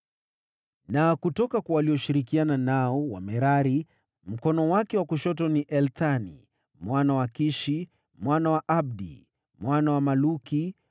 Na kutoka kwa walioshirikiana nao, Wamerari, mkono wake wa kushoto: Ethani mwana wa Kishi, mwana wa Abdi, mwana wa Maluki,